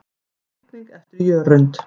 Teikning eftir Jörund.